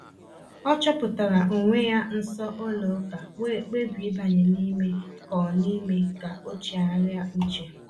O chọpụtara onwe ya nso ụlọ ụka wee kpebie ịbanye n’ime ka o n’ime ka o chegharịa uche.